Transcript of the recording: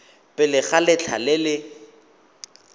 pele ga letlha le le